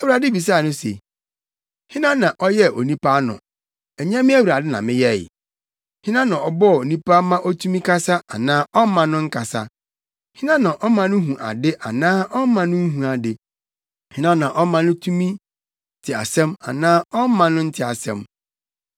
Awurade bisaa no se, “Hena na ɔyɛɛ onipa ano? Ɛnyɛ me Awurade na meyɛe? Hena na ɔbɔ onipa ma otumi kasa anaa ɔmma no nkasa. Hena na ɔma no hu ade anaa ɔmma no nhu ade. Hena na ɔma no tumi te asɛm anaa ɔmma no nte asɛm?